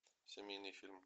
семейный фильм